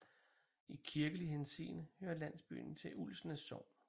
I kirkelig henseende hører landsbyen til Ulsnæs Sogn